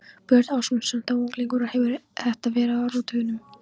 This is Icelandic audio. Björn Ásmundsson, þá unglingur og hefir þetta verið á áratugnum